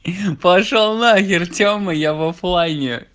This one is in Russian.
пошёл на хер тема я в оффлайне